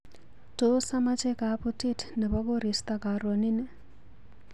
Tos amache kabutit nebo korista karonini?